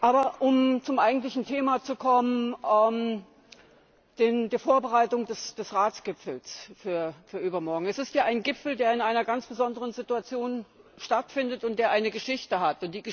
Um aber zum eigentlichen Thema zu kommen, der Vorbereitung des Ratsgipfels für übermorgen Es ist ja ein Gipfel, der in einer ganz besonderen Situation stattfindet und der eine Geschichte hat.